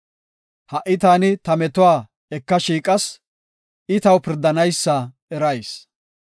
Ha77i taani ta metuwa eka shiiqas; I taw pirdanaysa erayis.